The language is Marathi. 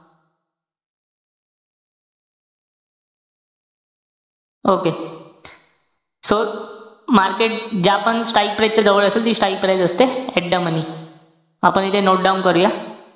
Okay. so, market ज्या पण strike price च्या जवळ असेल. ती strike price असते at the money. आपण इथे note down करूया.